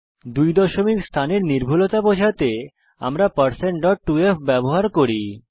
2 দশমিক স্থানের নির্ভুলতা বোঝাতে আমরা 2f ব্যবহার করেছি